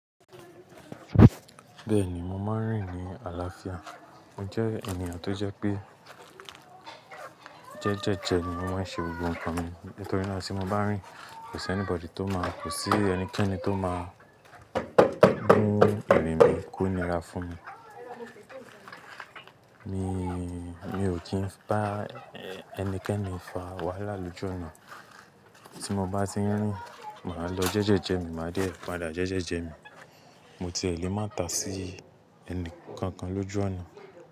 Bẹ́ẹ̀ni, mo máa ń rìn ní àlàáfíà. Mo jẹ́ ènìyàn tó jẹ́ pé jẹ́jẹ́jẹ ni mo máa ń ṣe gbogbo nǹkan mi. Nítorí náà tí mo bá rìn kò sí anybody tó máa, kò sí ẹnikẹ́ni tó máa mú ìrìn mi kú níra fún mi. Ni mi ò ti bá ẹnikẹ́ni fa wàhálà lójú ọ̀nà. Tí mo bá ti rìn, màá lọ jẹ́jẹ́jẹ mi, màá dẹ̀ pàdà jẹ́jẹ́jẹ mi. Mo ti lè má ta sí ẹni kankan lójú ọ̀nà.